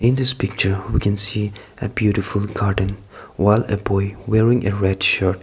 this picture we can see a beautiful garden well a boy wearing a red shirt.